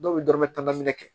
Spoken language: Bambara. Dɔw bɛ dɔrɔmɛ tan minɛ kɛ